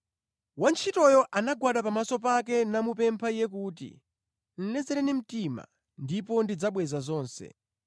“Wantchitoyo anagwada pamaso pake namupempha iye kuti, ‘Lezereni mtima ndipo ndidzabweza zonse.’